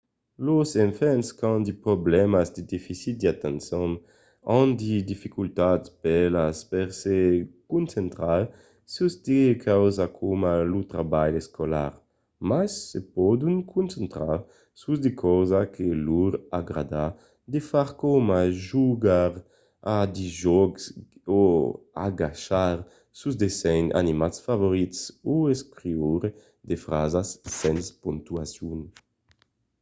los enfants qu'an de problèmas de deficit d'atencion an de dificultats bèlas per se concentrar sus de causas coma lo trabalh escolar mas se pòdon concentrar sus de causas que lor agrada de far coma jogar a de jòcs o agachar sos dessenhs animats preferits o escriure de frasas sens pontuacion